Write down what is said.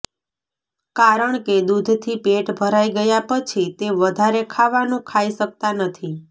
કારણકે દૂધથી પેટ ભરાઇ ગયા પછી તે વધારે ખાવાનું ખાઇ શકતા નથી